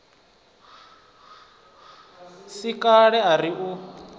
si kale a ri u